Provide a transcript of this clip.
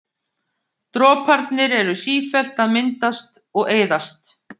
Droparnir eru sífellt að myndast og eyðast.